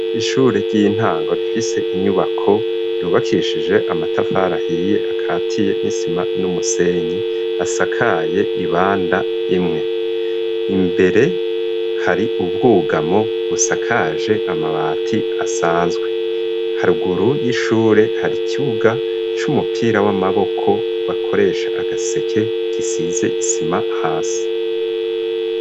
Ishure ry'intango rifise inyubako yubakishije amatafari ahiye akatiye n'isima n'umusenyi asakaye ibanda imwe imbere hari ubwugamo busakaje amabati asanzwe haruguru y'ishure hari ikibuga c'umupira w'amaboko bakoresha agaseke gisize isima hasi.